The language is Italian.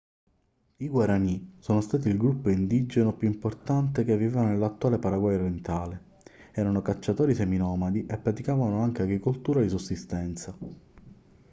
i guaraní sono stati il gruppo indigeno più importante che viveva nell'attuale paraguay orientale. erano cacciatori seminomadi e praticavano anche agricoltura di sussistenza